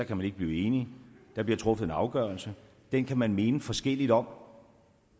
kan man ikke blive enige der bliver truffet en afgørelse den kan man mene forskelligt om